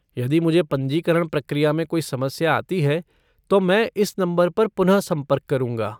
यदि मुझे पंजीकरण प्रक्रिया में कोई समस्या आती है तो मैं इस नंबर पर पुनः संपर्क करूँगा।